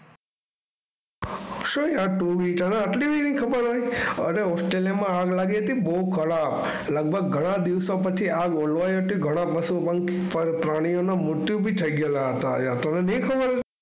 શું યાર તું બી તને આટલી નહીં ખબર હોય ઓસ્ટ્રેલિયામાં આગ લાગી હતી બહુ કડક. લગભગ ઘણા દિવસો પછી આગ ઓલવાઈ હતી. ઘણા પશુ પંખ પ્રાણીઓના મૃત્યુ થઈ ગયેલા હતા. તને નહીં ખબર?